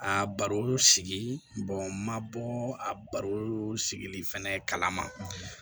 A bari olu sigi ma bɔ a baro sigili fɛnɛ kala ma